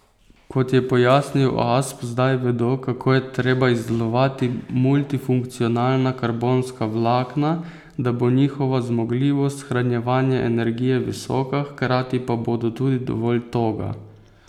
Kot je pojasnil Asp, zdaj vedo, kako je treba izdelovati multifunkcionalna karbonska vlakna, da bo njihova zmogljivost shranjevanja energije visoka, hkrati pa bodo tudi dovolj toga.